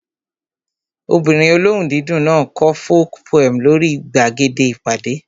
Ọmọbìnrin olóhùn dídùn náà kọ folk poem lórí gbàgede ìpàdé